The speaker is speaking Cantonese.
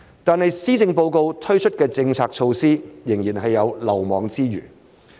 但是，施政報告推出的政策措施，仍然有漏網之魚。